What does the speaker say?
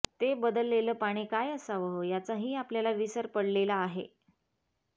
ते बदललेलं पाणी काय असावं याचाही आपल्याला विसर पडलेला आहे